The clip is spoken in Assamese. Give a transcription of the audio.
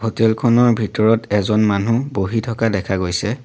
হোটেল খনৰ ভিতৰত এজন মানুহ বহি থকা দেখা গৈছে।